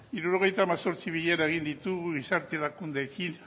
hirurogeita hemezortzi bilera egin ditugu gizarte erakundeekin